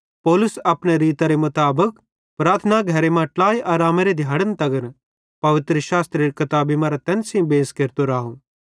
पौलुस अपने रीतरे मुताबिक प्रार्थना घरे मां ट्लाई आरामेरे दिहाड़न तगर पवित्रशास्त्रेरी किताबी मरां तैन सेइं बेंस केरतो राव